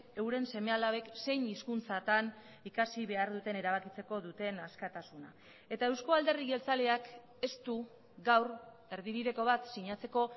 euren seme alabek zein hizkuntzatan ikasi behar duten erabakitzeko duten askatasuna eta eusko alderdi jeltzaleak ez du gaur erdibideko bat sinatzeko